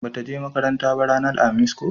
ba ta je makaranta ranar alhamis ba ko?